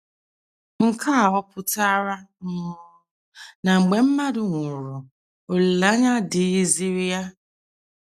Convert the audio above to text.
Nke a ọ̀ pụtara um na mgbe mmadụ nwụrụ olileanya adịghịziri ya?